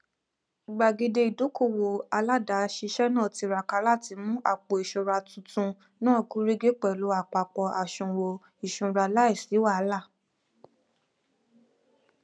gbàgede ìdókòwò aládàáṣiṣẹ náà tiraka láti mú àpòìṣúra tuntun náà gúnrégé pẹlú àpapọ àsùwọn ìṣúra láìsí wàhálà